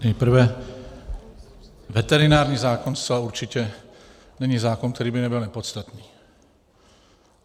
Nejprve, veterinární zákon zcela určitě není zákon, který by nebyl nepodstatný.